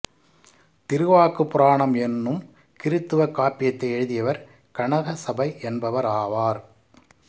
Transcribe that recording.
திருவாக்குப் புராணம் என்னும் கிறித்தவக் காப்பியத்தை எழுதியவர் கனகசபை என்பவர் ஆவார்